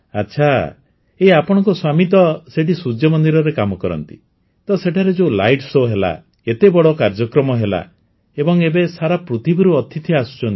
ଆଚ୍ଛା ଏଇ ଆପଣଙ୍କ ସ୍ୱାମୀ ତ ସେଇଠି ସୂର୍ଯ୍ୟମନ୍ଦିରରେ କାମ କରନ୍ତି ତ ସେଠାରେ ଯୋଉ ଲାଇଟ୍ ଶୋ ହେଲା ଏତେ ବଡ଼ କାର୍ଯ୍ୟକ୍ରମ ହେଲା ଏବଂ ଏବେ ସାରା ପୃଥିବୀରୁ ଅତିଥି ଆସୁଛନ୍ତି